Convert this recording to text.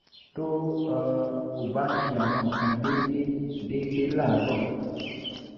tó um o bá ń ṣe àwọn nǹkan kan déédéé déédéé láàárọ̀